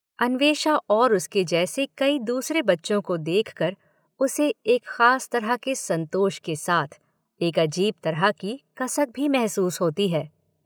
अन्वेषा और उसके जैसे कई दूसरे बच्चों को देख कर उसे एक खास तरह के संतोष के साथ एक अजीब तरह की कसक भी महसूस होती है।